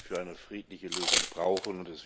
für eine friedliche Lösung brauchen.